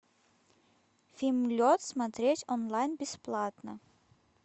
фильм лед смотреть онлайн бесплатно